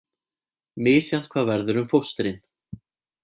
Misjafnt hvað verður um fóstrin